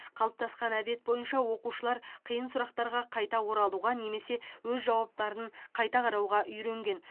қалыптасқан әдет бойынша оқушылар қиын сұрақтарға қайта оралуға немесе өз жауаптарын қайта қарауға үйренген